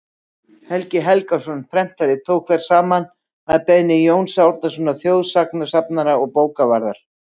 helgi helgason prentari tók þær saman að beiðni jóns árnasonar þjóðsagnasafnara og bókavarðar